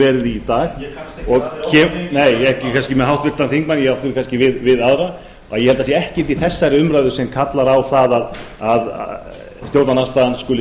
verið í dag nei ekki kannski með háttvirtan þingmann ég átti kannski við aðra ég held að það sé ekkert í þessari umræðu sem kallar á það að stjórnarandstaðan skuli